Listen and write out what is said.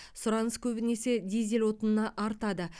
сұраныс көбінесе дизель отынына артады